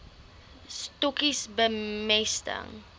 stokkies bemesting